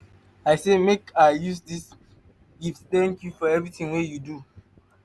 i say make i use dis small gift tank you for evertin wey you do.